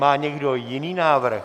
Má někdo jiný návrh?